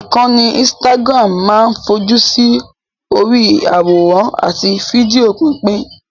Ìkànnì Instagram máa ń fojú sí orí i àwòrán àti fídíò pípín